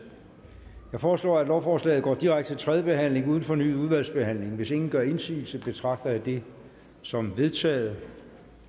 jeg foreslår at lovforslaget går direkte til tredje behandling uden fornyet udvalgsbehandling hvis ingen gør indsigelse betragter jeg det som vedtaget